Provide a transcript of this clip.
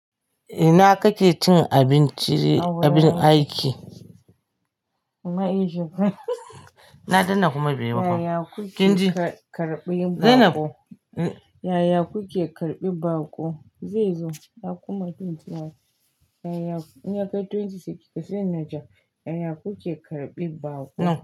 Ina kake cin abincin abin aiki? Na danna kuma baiyi ba fa. Yaya kuke karɓi baƙo? Yaya kuke karɓi baƙo? Zai zo na kunna zaizo. Yaya in ya kai twenty seconds sai na ja. Yaya kuke karɓi baƙo?